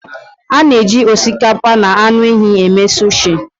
A na-eji osikapa na anụ ehi eme sushi